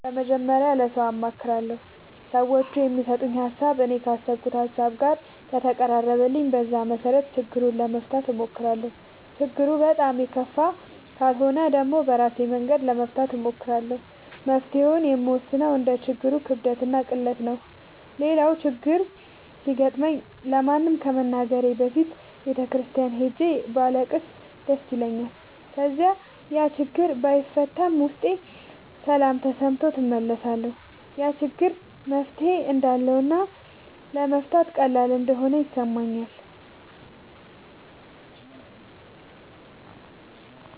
መጀመሪያ ለሠው አማክራለሁ። ሠዎቹ የሚሠጡኝ ሀሣብ እኔ ካሠብኩት ሀሳብ ጋር ከተቀራረበልኝ በዛ መሠረት ችግሩን ለመፍታት እሞክራለሁ። ችግሩ በጣም የከፋ ካልሆነ ደግሞ በራሴ መንገድ ለመፍታት እሞክራለሁ። መፍትሔውን የምወስነው እንደ ችግሩ ክብደትና ቅለት ነው። ሌላው ችግር ሲገጥመኝ ለማንም ከመናገሬ በፊት ቤተ ክርስቲያን ሄጄ ባለቅስ ደስ ይለኛል። ከዚያ ያችግር ባይፈታም ውስጤ ሠላም ተሠምቶት እመለሳለሁ። ያ ችግር መፍትሔ እንዳለውና ለመፍታት ቀላል እንደሆነ ይሠማኛል።